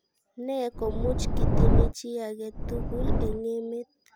Ne komuch kitiny chi ake tugul eng emet